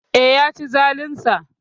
Eh, Yaci zalinsa